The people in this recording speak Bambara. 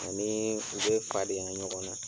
Ani u bɛ fadenya ɲɔgɔn na.